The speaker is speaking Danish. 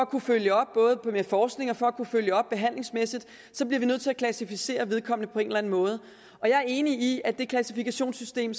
kan følge op med forskning og for at man kan følge op behandlingsmæssigt vi er nødt til at klassificere vedkommende på en eller anden måde og jeg er enig i at det klassifikationssystem